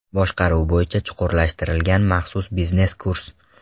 Boshqaruv bo‘yicha chuqurlashtirilgan maxsus biznes kurs.